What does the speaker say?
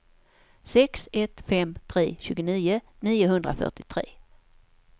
sex ett fem tre tjugonio niohundrafyrtiotre